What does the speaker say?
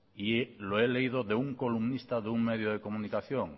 y lo he leído de un columnista de un medio de comunicación